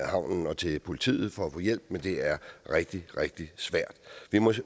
havnen og til politiet for at få hjælp men det er rigtig rigtig svært vi må